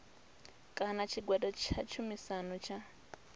kana tshigwada tsha tshumisano tsha